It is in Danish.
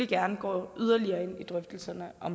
gerne går yderligere ind i drøftelserne af